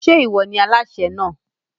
Ń jẹ́ ìwọ ni Aláṣẹ náà?